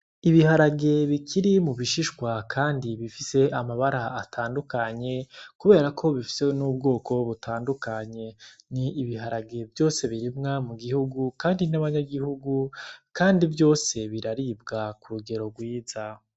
Iharage bikiri mubishishwa kandi bifis'amabara atandukanye kuberako bifise n'ubwoko butandukanye n'ibiharage vyose birimwa mugihugu kandi n'abanyagihugu kandi vyose biraribwa k'urugero rwiza.